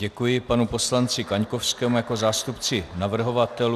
Děkuji panu poslanci Kaňkovskému jako zástupci navrhovatelů.